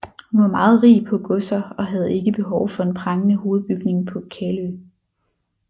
Hun var meget rig på godser og havde ikke behov for en prangende hovedbygning på Kalø